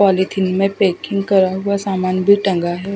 Polythene में packing करा हुआ सामान भी टंगा है।